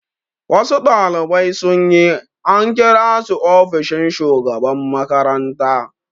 Wasu ɗalibai sun yi, an kira su ofishin shugaban makaranta